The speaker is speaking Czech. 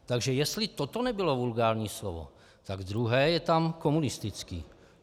Takže jestli toto nebylo vulgární slovo, tak druhé je tam "komunistický".